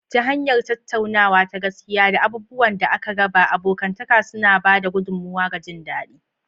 Ta hanyar tattaunawa ta gaskiya da abubuwan da aka raba, abokantaka suna ba da gudummawa ga jin daɗi.